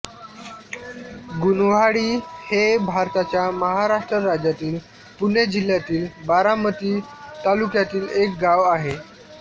गुणवाडी हे भारताच्या महाराष्ट्र राज्यातील पुणे जिल्ह्यातील बारामती तालुक्यातील एक गाव आहे